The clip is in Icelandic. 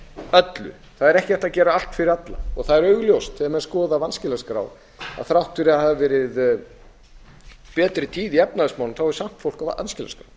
öllu það er ekki hægt að gera allt fyrir alla og það er augljóst þegar menn skoða vanskilaskrá að þrátt fyrir að verið hafi betri tíð í efnahagsmálum þá er samt fólk á